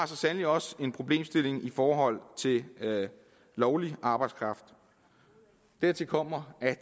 så sandelig også en problemstilling i forhold til lovlig arbejdskraft dertil kommer at